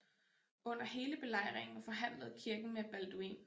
Under hele belejringen forhandlede kirken med Balduin